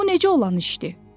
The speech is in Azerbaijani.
Bu necə olan işdir?